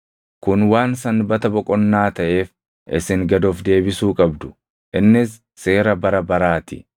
Kun waan sanbata boqonnaa taʼeef isin gad of deebisuu qabdu; innis seera bara baraa ti.